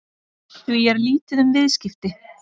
Því er lítið um viðskipti